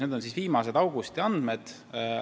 Need on augusti andmed.